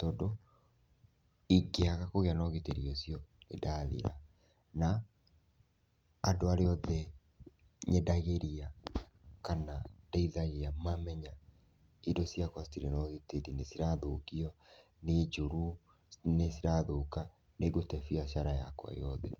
tondũ ingiaga kũgĩa na ũgitĩri ũcio nĩndathira, na andũ arĩa othe nyendagĩria kana ndeithagia, mamenya indo ciakwa citirĩ na ũgitĩri, nĩ cirathũkio, nĩ njũru, nĩ cirathũka, nĩ ngũtee biacara yakwa yothe.